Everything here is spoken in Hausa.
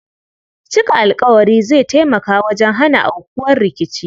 Cika alƙawari zai tamaka wajen hana aukuwar rikici.